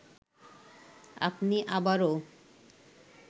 আপনি আবারও